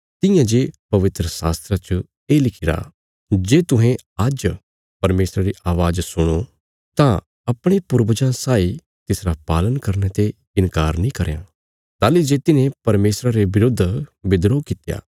तियां जे पवित्रशास्त्रा च ये लिखिरा जे तुहें आज्ज परमेशरा री अवाज़ सुणो तां अपणे पूर्वजां साई तिसरा पालन करने ते इन्कार नीं करयां ताहली जे तिन्हें परमेशरा रे बिरुद्ध बिद्रोह कित्या